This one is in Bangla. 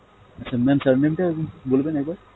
আচ্ছা mam surname টা উম বলবেন একবার